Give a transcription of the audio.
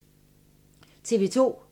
TV 2